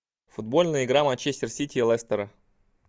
футбольная игра манчестер сити и лестера